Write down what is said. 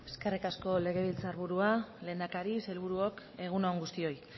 eskerrik asko legebiltzar burua lehendakari sailburuok egun on guztioi